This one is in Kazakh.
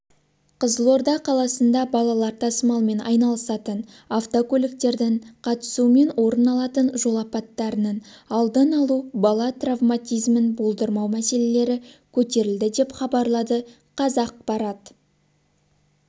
қызылорда қаласында балалар тасымалымен айналысатын автокөліктердің қатысумен орын алатын жол апаттарының алдын алу бала травматизмін болдырмау мәселелері көтерілді деп хабарлады қазақпарат